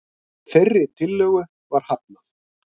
Þeirri tillögu var hafnað.